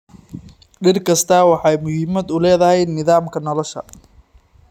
Dhir kastaa waxa ay muhiimad u leedahay nidaamka nolosha.